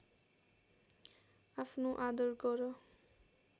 आफ्नो आदर गर